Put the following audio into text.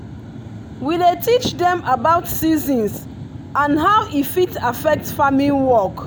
we dey teach dem about seasons and how e fit affect farming work.